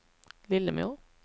Lillemor